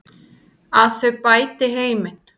Að þau bæti heiminn.